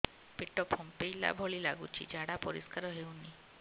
ପେଟ ଫମ୍ପେଇଲା ଭଳି ଲାଗୁଛି ଝାଡା ପରିସ୍କାର ହେଉନି